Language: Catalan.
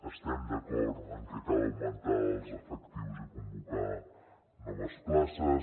estem d’acord en que cal augmentar ne els efectius i convocar ne noves places